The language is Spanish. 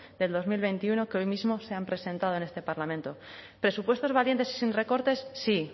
del dos mil veintiuno que hoy mismo se han presentado en este parlamento presupuestos valientes y sin recortes sí